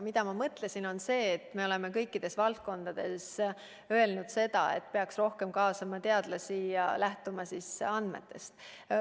Mina mõtlesin seda ja me oleme seda ka öelnud, et kõikides valdkondades peaks rohkem kaasama teadlasi ja lähtuma nende kogutud andmetest.